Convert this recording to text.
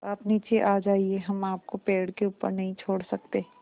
आप नीचे आ जाइये हम आपको पेड़ के ऊपर नहीं छोड़ सकते